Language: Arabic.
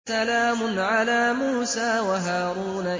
سَلَامٌ عَلَىٰ مُوسَىٰ وَهَارُونَ